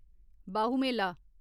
Bahu Mela